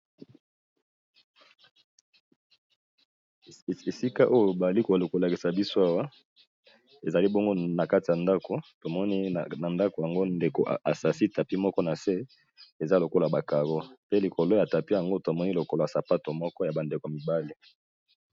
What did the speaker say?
Esika oyo balikole kolakisa biso awa ezali bongo na kati ya ndako tomoni na ndako yango ndeko asasi tapi moko na se eza lokola bakabo pe likolo ya tapi yango tomoni lokol sapato moko ya bandeko mibale.